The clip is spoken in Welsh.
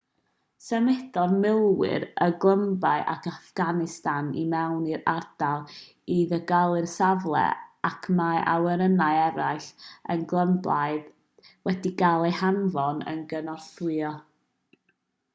symudodd milwyr y glymblaid ac affganistan i mewn i'r ardal i ddiogelu'r safle ac mae awyrennau eraill y glymblaid wedi cael eu hanfon i gynorthwyo